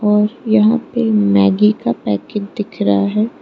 और यहां पे मैगी का पैकेट दिख रहा है।